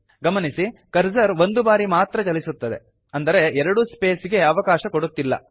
ಗಮನಿಸಿ ಕರ್ಸರ್ ಒಂದು ಬಾರಿ ಮಾತ್ರ ಚಲಿಸುತ್ತದೆ ಅಂದರೆ ಎರಡು ಸ್ಪೇಸ್ ಗೆ ಅವಕಾಶ ಕೊಡುತ್ತಿಲ್ಲ